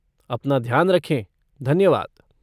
अपना ध्यान रखें, धन्यवाद।